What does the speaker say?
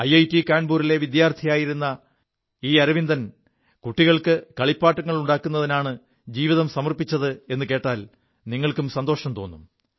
IIT കാപൂരിലെ വിദ്യാർഥിയായിരു ഈ അരവിന്ദൻ കുികൾക്ക് കളിപ്പാങ്ങളുണ്ടാക്കുതിനാണ് ജീവിതം സമർപ്പിച്ചതെു കോൽ നിങ്ങൾക്കും സന്തോഷം തോും